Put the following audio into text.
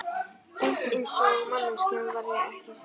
Hreint eins og manneskjunni væri ekki sjálfrátt.